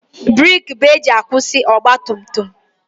Breeki ka eji akwụsị ọgbatumtum.